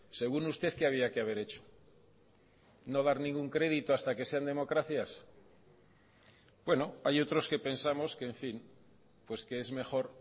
según usted qué había que haber hecho no dar ningún crédito hasta que sean democracias bueno hay otros que pensamos que en fin pues que es mejor